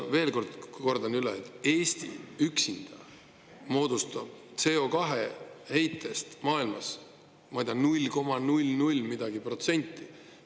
Veel kord: Eesti üksinda moodustab maailma CO2-heitest, ma ei tea, null koma null null midagi protsenti.